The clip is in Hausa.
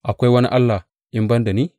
Akwai wani Allah in ban da ni?